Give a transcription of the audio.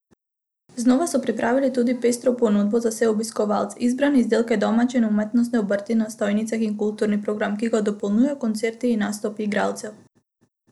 Znova so pripravili tudi pestro ponudbo za vse obiskovalce, izbrane izdelke domače in umetnostne obrti na stojnicah in kulturni program, ki ga dopolnjujejo koncerti in nastopi igralcev.